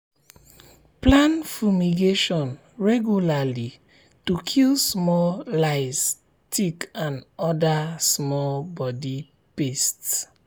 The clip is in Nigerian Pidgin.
plan fumigation regularly to kill small lice um tick and other um small body pest.